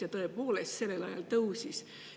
Ja tõepoolest, sellel ajal tõusis.